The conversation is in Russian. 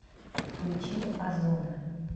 включи озуна